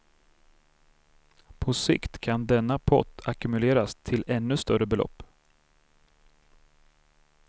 På sikt kan denna pott ackumuleras till ännu större belopp.